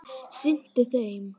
sinnti þeim.